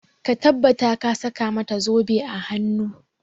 Ka tabbata ka saka mata zobe a hanu!